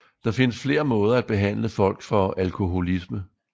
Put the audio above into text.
Der findes flere måder at behandle folk for alkoholisme